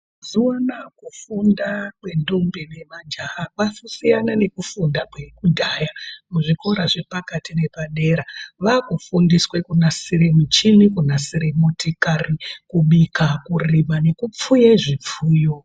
Mazuva ana kufunda kwe ndombi ne majaha kwasiyana neku funda kwe kudhaya zvikora zvepakati nepadera vaku fundiswe kunasire muchini kunasire motikari kubika kurima neku pfuye zvipfuyo.